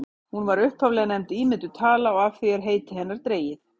hún var upphaflega nefnd ímynduð tala og af því er heiti hennar dregið